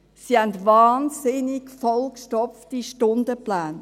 Diese haben unglaublich vollgestopfte Stundenpläne.